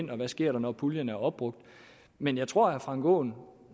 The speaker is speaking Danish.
hvad der sker når puljen er opbrugt men jeg tror herre frank aaen